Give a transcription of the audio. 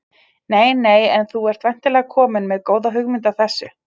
Nei nei En þú ert væntanlega kominn með góða hugmynd að þessu?